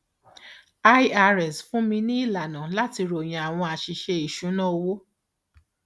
irs fúnni ní ìlànà láti ròyìn àwọn àṣìṣe ìṣúnná owó